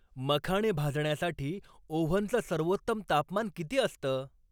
मखाणे भाजण्यासाठी ओव्हनचं सर्वोत्तम तापमान किती असतं?